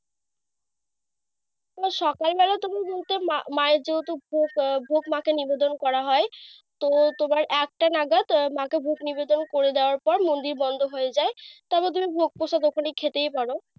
ও সকাল বেলা তুমি বলতে মা মায়ের যেহেতু ভোগ মাকে নিবেদন করা হয়। তো একটা নাগাদ মাকে ভোগ নিবেদন করে দেওয়ার পর মন্দির বন্ধ হয়ে যায়। তারপর তুমি ভোগপোস গোপনে খেতেই পারো।